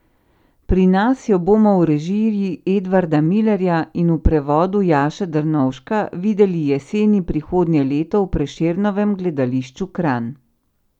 Pri nas jo bomo v režiji Edvarda Milerja in v prevodu Jaše Drnovška videli jeseni prihodnje leto v Prešernovem gledališču Kranj.